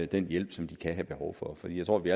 den hjælp som de kan have behov for for jeg tror vi